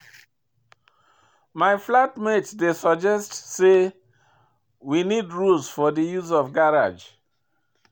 My flat mate dey suggest sey we need rules for di use of garage.